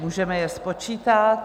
Můžeme je spočítat.